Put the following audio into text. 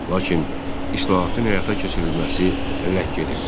Lakin islahatın həyata keçirilməsi ləng gedirdi.